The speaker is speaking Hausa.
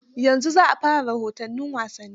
Yanzu za a fara rahoton wasanni.